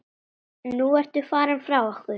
Nú ertu farin frá okkur.